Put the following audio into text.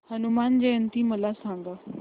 हनुमान जयंती मला सांगा